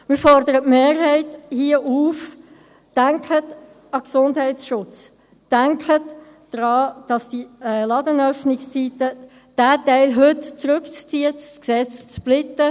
Wir fordern die Mehrheit hier auf: Denken Sie an den Gesundheitsschutz, denken Sie daran, den Teil der Ladenöffnungszeiten heute zurückzuziehen, das Gesetz zu splitten.